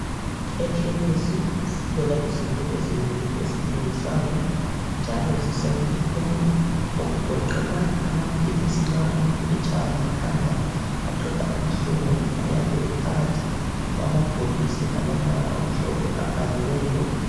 Ekhemesi sithola izinto ezinengi ezithengiswayo njalo zisemthethweni okugoqela amaphilisi nxa umuntu etshaywa likhanda aqeda ubuhlungu ayabe ephakathi kwamabhokisi alombala omhlophe obhaliweyo.